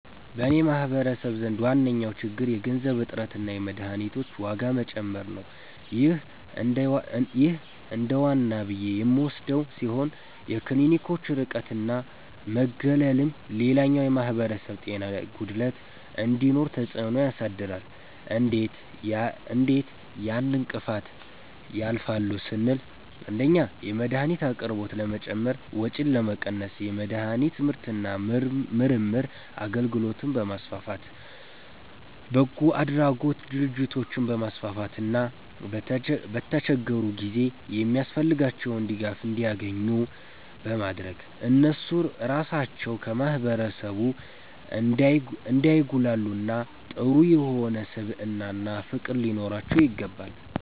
በኔ ማህበረሰብ ዘንድ ዋነኛዉ ችግር የገንዘብ እጥረትና የመድሀኒቶች ዋጋ መጨመር ነዉ ይህ እንደዋና ብዬ የምወስደዉ ሲሆን የክሊኒኮች ርቀትና መገለልም ሌላኛዉ የማህበረሰብ ጤና ጉድለት እንዲኖር ተፅእኖ ያሳድራሉ እንዴት ያን እንቅፋት ያልፋሉ ስንል 1)የመድሀኒት አቅርቦት ለመጨመር ወጪን ለመቀነስ የመድሀኒት ምርትና ምርምር አገልግሎትን በማስፋፋት፣ በጎአድራጎት ድርጅቶችን በማስፋፋትና በተቸገሩ ጊዜ የሚያስፈልጋቸዉን ድጋፍ እንዲያኙ ኙ በማድረግ እነሱ ራሳቸዉ ከማህበረሰቡ እንዳይጉላሉና ጥሩ የሆነ ስብዕናና ፍቅር ሊኖራቸዉ ይገባል።